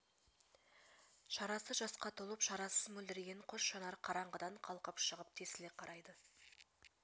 шарасы жасқа толып шарасыз мөлдіреген қос жанар қараңғыдан қалқып шығып тесіле қарайды